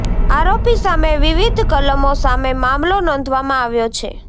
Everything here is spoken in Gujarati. આરોપી સામે વિવિધ કલમો સામે મામલો નોંધવામાં આવ્યો છે